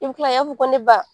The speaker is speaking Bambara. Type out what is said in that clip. I bɛ kila i ya fɔ ko ne ba